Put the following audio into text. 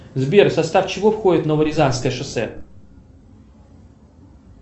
сбер в состав чего входит новорязанское шоссе